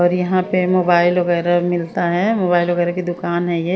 और यहां पे मोबाइल वगैरा मिलता है मोबाइल वगैरा की दुकान है ये--